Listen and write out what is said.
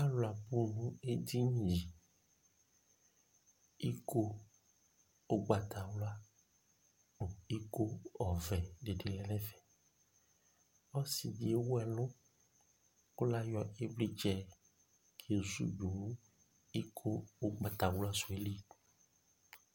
alʋ abʋ nʋ ɛdiniɛ, ikɔ, ɔgbatawla, ikɔ ɔvɛ dibi lɛnʋ ɛƒɛ, ɔsiidi ɛwʋ ɛlʋ kʋ layɔ ivlitsɛ kɛzʋdʋ ikɔ ɔgbatawla sʋɛ li